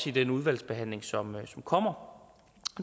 i den udvalgsbehandling som kommer